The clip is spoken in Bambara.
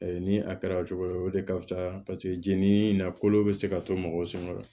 Ni a kɛra cogo wɛrɛ o de ka fusa paseke jeli in na kolo bɛ se ka to mɔgɔw sɔngɔ la